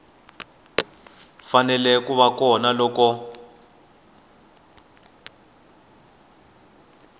fanele ku va kona loko